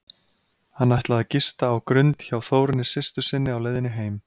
Hann ætlaði að gista á Grund hjá Þórunni systur sinni á leiðinni heim.